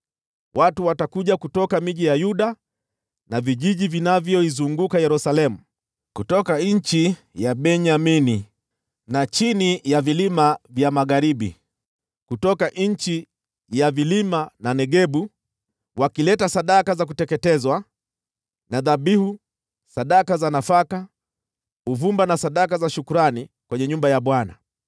Watu watakuja kutoka miji ya Yuda na vijiji vinavyoizunguka Yerusalemu, kutoka nchi ya Benyamini na chini ya vilima vya magharibi, kutoka nchi ya vilima na Negebu, wakileta sadaka za kuteketezwa na dhabihu, sadaka za nafaka, uvumba na sadaka za shukrani kwenye nyumba ya Bwana .